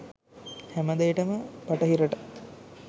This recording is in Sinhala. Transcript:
හැමදේටම බටහිරට